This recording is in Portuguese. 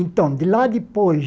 Então, de lá depois,